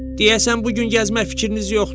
Deyəsən bu gün gəzmək fikriniz yoxdur.